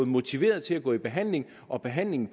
motivation til at gå i behandling og behandlingen